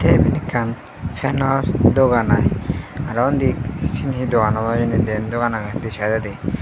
tey iben ekkan fenor dogan ai aro undi siyen hi dogan obo hijeni diyen dogan agey di saidodi.